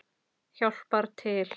Hjálpar til.